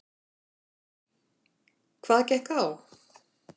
Hvað gekk á?